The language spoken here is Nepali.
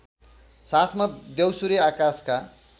साथमा द्यौसुरे आकाशका